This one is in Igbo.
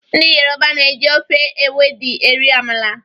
Ndị Yoruba na-eji ofe ewedu eri amala.